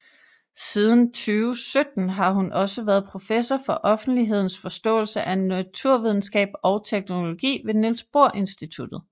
Siden 2017 har hun også været professor for offentlighedens forståelse af naturvidenskab og teknologi ved Niels Bohr Institutet